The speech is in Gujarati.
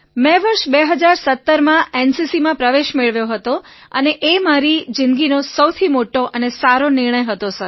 મેં વર્ષ ૨૦૧૭માં એનસીસીમાં પ્રવેશ મેળવ્યો હતો અને તે મારો જિંદગીનો સૌથી મોટો અને સારો નિર્ણય હતો સર